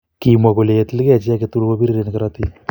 kimwa kole ye til gei chi age tugul ko biriren korotik